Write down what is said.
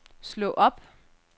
slå op